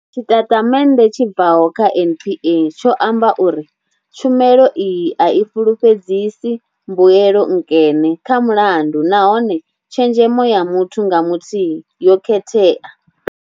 Tshitatamennde tshi bvaho kha NPA tsho amba uri. Tshumelo iyi a i fhulufhedzisi mbuelo nkene kha mulandu nahone tshenzhemo ya muthu nga muthihi yo khethea.